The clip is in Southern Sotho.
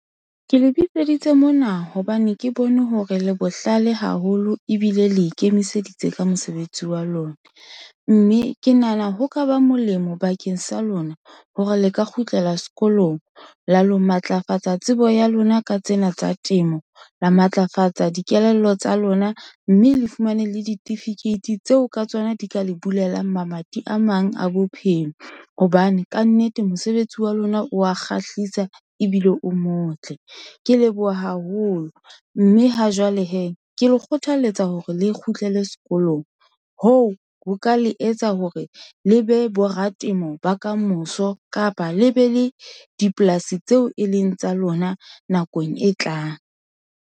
Ke le bitseditse mona hobane ke bone hore le bohlale haholo ebile le ikemiseditse ka mosebetsi wa lona. Mme ke nahana ho ka ba molemo bakeng sa lona hore le ka kgutlela sekolong la lo matlafatsa tsebo ya lona ka tsena tsa temo. La matlafatsa dikelello tsa lona, mme le fumane le ditifikeiti tseo ka tsona di ka le bulelang mamati a mang a bophelo hobane kannete mosebetsi wa lona o wa kgahlisa ebile o motle. Ke leboha haholo, mme ha jwale hee ke le kgothaletsa hore le kgutlele sekolong. Hoo ho ka le etsa hore le be bo ratemo ba kamoso kapa le be le dipolasi tseo e leng tsa lona nakong e tlang.